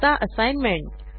आता असाईनमेंट